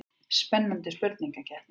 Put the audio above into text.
Spennandi spurningakeppni.